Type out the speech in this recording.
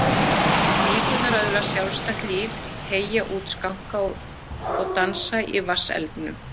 Flíkurnar öðlast sjálfstætt líf, teygja út skanka og dansa í vatnselgnum.